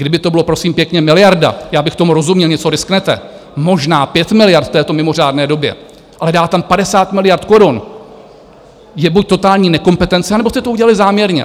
Kdyby to byla prosím pěkně miliarda, já bych tomu rozuměl, něco risknete, možná 5 miliard v této mimořádné době, ale dát tam 50 miliard korun je buď totální nekompetence, anebo jste to udělali záměrně.